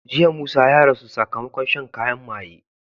Jiya musa ya rasu sakamakon shan kayan maye